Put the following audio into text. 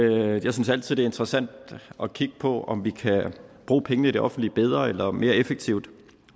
jeg synes altid det er interessant at kigge på om vi kan bruge pengene i det offentlige bedre eller mere effektivt og